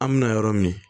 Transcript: An mina yɔrɔ min